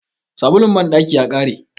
sabulun bandaki ya kare